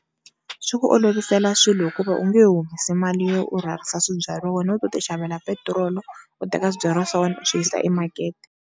Swi ku olovisela swilo hikuva u nge humesi mali yo u rhwalisa swibyariwa wena u to ti xavela petiroli u teka swibyariwa swa wena u swi yisa emakete.